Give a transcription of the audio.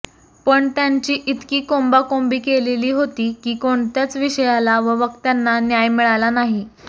पण त्यांची इतकी कोंबाकोंबी केलेली होती की कोणत्याच विषयाला व वक्त्यांना न्याय मिळाला नाही